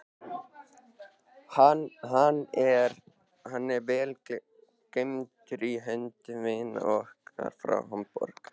Hann er vel geymdur í höndum vina okkar frá Hamborg.